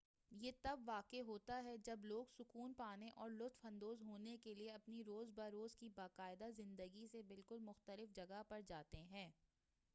یہ تب واقع ہوتا ہے جب لوگ سکون پانے اور لطف اندوز ہونے کے لیے اپنی روز بہ روز کی باقاعدہ زندگی سے بالکل مختلف جگہ پر جاتے ہیں